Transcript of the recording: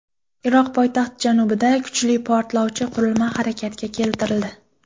Iroq poytaxti janubida kuchli portlovchi qurilma harakatga keltirildi.